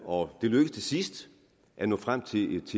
og det lykkedes til sidst at nå frem til et